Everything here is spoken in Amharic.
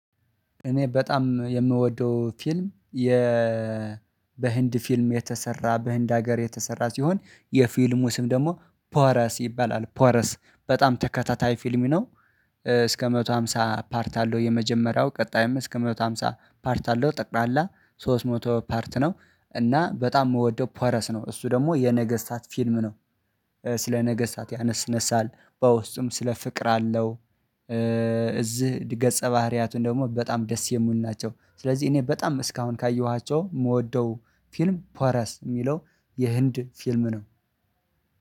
እኔ በጣም የምወደው ፊልም የ በህንድ ፊልም የተሰራ በህንድ ሀገር የተሰራ ሲሆን፤ የፊልሙ ስም ደግሞ ፖረስ ይባላል፤ ፖረስ በጣም ተከታታይ ፊልም ነው እስከ አንድ መቶ አምሳ ፓርት አለው፤ የመጀመሪያው ቀጣይም እስከ አንድ መቶ አምሳ ፓርት አለው፤ ጠቅላላ ሶስት መቶ ፓርት ነው እና በጣም የምወደው ፓረስ ነው እሱ ደግሞ የነገስታት ፊልም ነው። ስለ ነገስታት ያነሳል፤ በውስጡም ስለ ፍቅር አለው፤ እዚህ ገጸ ባህሪያቱን ደግሞ በጣም ደስ የምውል ናቸው፤ ስለዚህ እኔ በጣም እስካሁን ካየኋቸው የምወደው ፊልም ፓራስ የሚለው የህንድ ፊልም ነው።